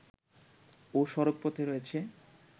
ও সড়কপথে রয়েছে